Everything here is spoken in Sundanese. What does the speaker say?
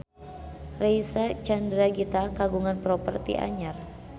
Reysa Chandragitta kagungan properti anyar